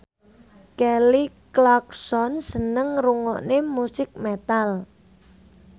Kelly Clarkson seneng ngrungokne musik metal